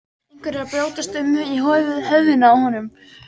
Eitthvað er að brjótast um í höfðinu á honum.